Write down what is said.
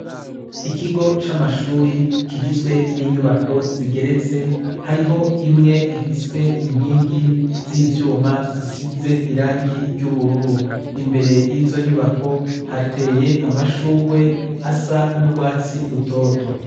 Ikigo c'amashuri kigizwe n'inyubako zigeretse hariho imwe ifise inkingi z'ivyuma zisize irangi ry'ubururu, imbere yizo nyubako hateye amashugwe asa n'urwatsi rutoto.